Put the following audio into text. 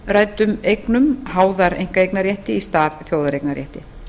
af umræddum eignum háðar einkaeignarrétti í stað þjóðareignarréttar